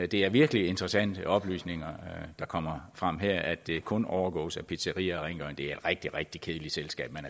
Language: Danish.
det er virkelig interessante oplysninger der kommer frem her at det kun overgås af pizzeriaer og rengøring det er et rigtig rigtig kedeligt selskab